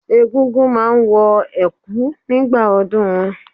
Egúngún máa wọ Ẹ̀kú nígbà ọdúnun wọn.